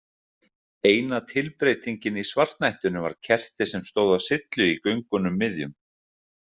Eina tilbreytingin í svartnættinu var kerti sem stóð á syllu í göngunum miðjum.